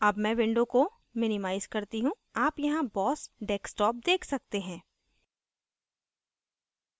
अब मैं window minimize करती you आप यहाँ boss desktop let सकते हैं